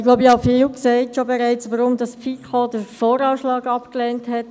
Ich glaube, ich habe bereits viel darüber gesagt, weswegen die FiKo den VA abgelehnt hat.